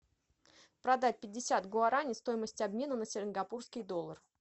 продать пятьдесят гуараней стоимость обмена на сингапурский доллар